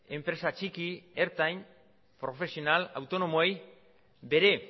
enpresa txiki ertain profesional autonomoei ere bere